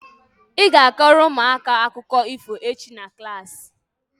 ị ga- akọrọ ụmụaka akụkọ ifo echi na klaasị